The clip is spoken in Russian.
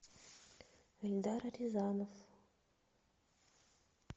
эльдар рязанов